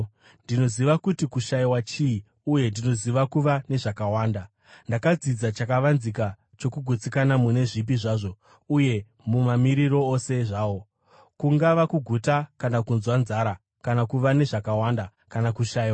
Ndinoziva kuti kushayiwa chii, uye ndinoziva kuva nezvakawanda. Ndakadzidza chakavanzika chokugutsikana mune zvipi zvazvo uye mumamiriro ose zvawo, kungava kuguta kana kunzwa nzara, kana kuva nezvakawanda kana kushayiwa.